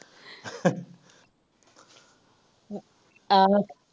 ਆਹੋ।